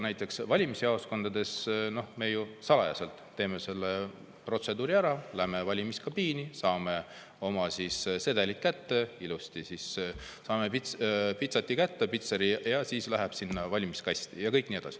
Valimisjaoskondades me ju salajaselt teeme selle protseduuri ära: läheme valimiskabiini, saame oma sedeli ilusti kätte, saame pitseri peale ja siis see läheb sinna valimiskasti.